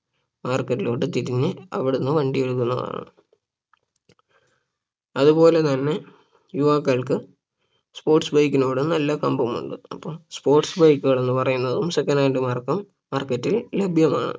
market ലോട്ട് തിരിഞ് അവിടന്ന് വണ്ടി എടുക്കുന്നതാണ് അതുപോലെ തന്നെ യുവാക്കൾക്ക് sports bike നോട് നല്ല കമ്പം ഉണ്ട് അപ്പൊ sports bike കൾ എന്ന് പറയുന്നത് second hand mark market ൽ ലഭ്യമാണ്